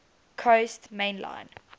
coast main line